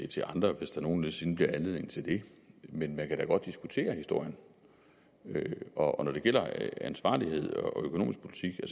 til andre hvis der nogen sinde bliver anledning til det men man kan da godt diskutere historien og når det gælder ansvarlighed og økonomisk politik er